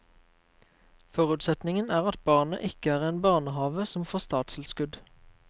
Forutsetningen er at barnet ikke er i en barnehave som får statstilskudd.